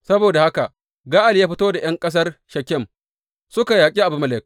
Saboda haka Ga’al ya fito da ’yan ƙasar Shekem suka yaƙi Abimelek.